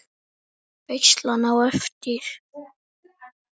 Veislan á eftir?